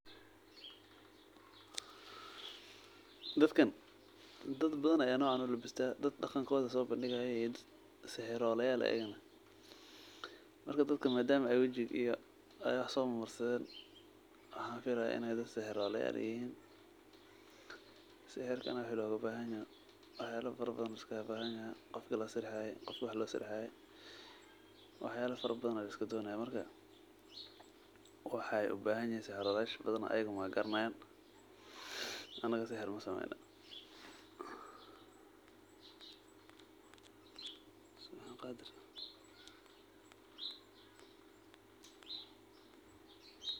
long pause